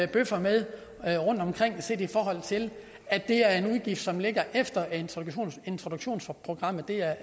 bøvler med rundtomkring set i forhold til at det er en udgift som ligger efter at integrationsprogrammet